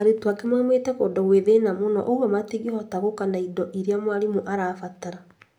Arutwo angĩ moimĩte kũndũ gwĩ thĩna mũno ũguo matingĩhota gũka na indo iria mwarimũ arabatara